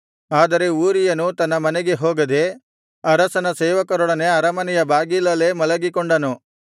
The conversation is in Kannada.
ಆದರೆ ಊರೀಯನು ತನ್ನ ಮನೆಗೆ ಹೋಗದೆ ಅರಸನ ಸೇವಕರೊಡನೆ ಅರಮನೆಯ ಬಾಗಿಲಲ್ಲೇ ಮಲಗಿಕೊಂಡನು